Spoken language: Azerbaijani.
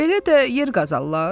Belə də yer qazalılar?